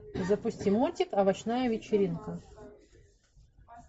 запусти мультик овощная вечеринка